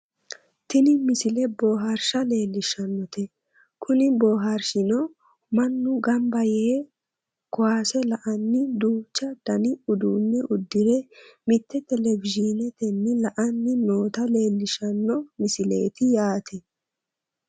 tini misile bohaarshsha leellishshannote kuni booharrshino mannu ganba yee kowaase la"anni duuchu dani uduunne uddire mitte televizhiinetenni la"anni noota leellishshanno msileeti yaate